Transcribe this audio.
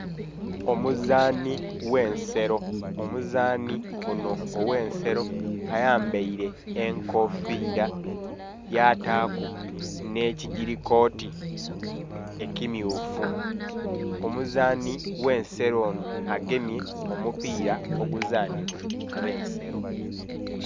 Omuzanhi ghe nselo, omuzanhi onho oghe selo ayambere enkofiira yataku nhe kigili kooti ekimyufu, omuzanhi oghe nselo nho agemye omupila omuzanhi bwa abe nselo.